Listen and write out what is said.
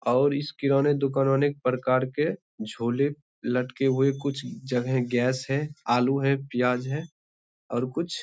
और इस किराने दुकान में अनेक प्रकार के झोले लटके हुए कुछ जगह गैस है आलू है पियाज है और कुछ--